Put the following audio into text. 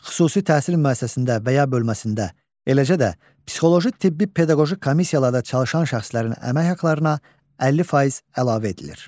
Xüsusi təhsil müəssisəsində və ya bölməsində, eləcə də psixoloji-tibbi-pedaqoji komissiyalarda çalışan şəxslərin əmək haqlarına 50% əlavə edilir.